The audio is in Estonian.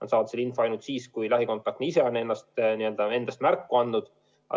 Nad saavad selle info ainult siis, kui lähikontaktne ise on endast märku andnud.